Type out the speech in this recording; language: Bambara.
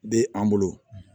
Bɛ an bolo